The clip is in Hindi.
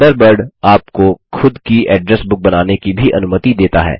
थंडरबर्ड आपको खुद की एड्रेस बुक बनाने की भी अनुमति देता है